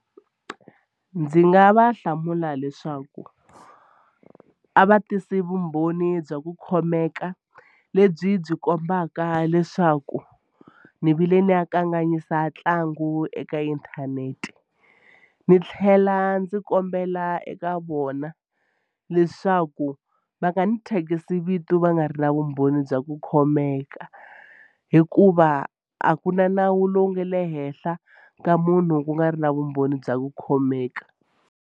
Ndzi nga va hlamula leswaku a va tisi vumbhoni bya ku khomeka lebyi byi kombaka leswaku ni vile ni ya kanganyisa ntlangu eka inthanete. Ni tlhela ndzi kombela eka vona leswaku va nga ni thyakisi vito va nga ri na vumbhoni bya ku khomeka hikuva a ku na nawu lowu nga le henhla ka munhu ku nga ri na vumbhoni bya ku khomeka.